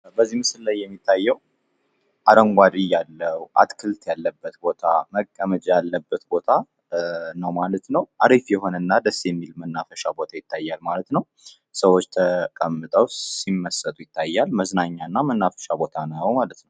በዚህ ምስል ላይ የሚታየው አረንጓዴ እያለው አትክልት ያለበት ቦታ መቀመጫ ያለበት ቦታ ነው ማለት ነው። አሪፍ የሆነና ደስ የሚል መናፈሻ ቦታ ይታያል ማለት ነው። ሰዎች ተቀምጠው ሲመስጡ ይታያል መዝናኛና መናፈሻ ቦታ ነው ማለት ነው።